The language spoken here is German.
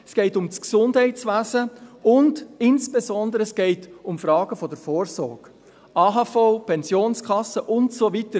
es geht um das Gesundheitswesen, und es geht insbesondere um Fragen der Vorsorge: AHV, Pensionskasse und so weiter.